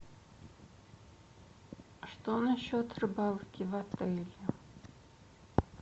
что насчет рыбалки в отеле